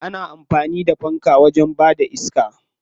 Ana amfani da fanka wajen bada iska.